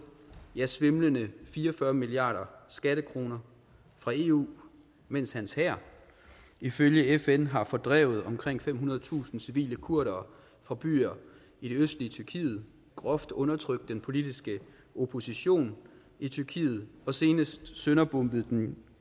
ja svimlende fire og fyrre milliarder skattekroner fra eu mens hans hær ifølge fn har fordrevet omkring femhundredetusind civile kurdere fra byer i det østlige tyrkiet groft undertrykt den politiske opposition i tyrkiet og senest sønderbombet det